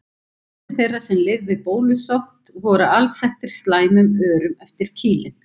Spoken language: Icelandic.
Margir þeirra sem lifðu bólusótt af voru alsettir slæmum örum eftir kýlin.